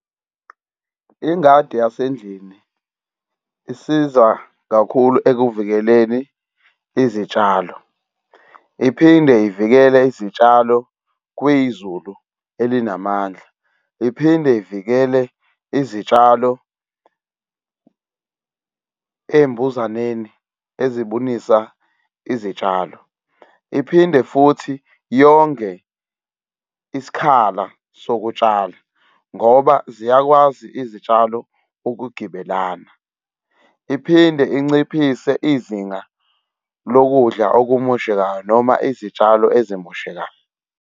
Ingadi yasendlini isiza kakhulu ekuvikeleni izitshalo, iphinde ivikele izitshalo kwizulu elinamandla, iphinde ivikele izitshalo ey'mbuzaneni ezibunisa izitshalo, iphinde futhi yonge isikhala sokutshala ngoba ziyakwazi izitshalo ukugibelana, iphinde inciphise izinga lokudla okumoshekayo noma izitshalo ezimoshekayo.